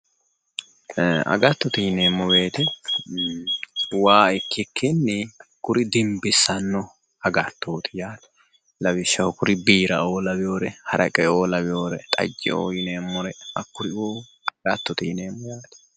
Agattote yineemmo woyiite waa ikkikinni kuri dimbissanno agattooti yaate lawishshaho kuri biiraoo laweoore haraqeoo laweeoore, xajjeoo yineemmori hakkuriuu agattote yineemmo yaate.